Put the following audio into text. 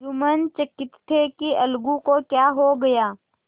जुम्मन चकित थे कि अलगू को क्या हो गया